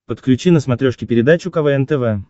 подключи на смотрешке передачу квн тв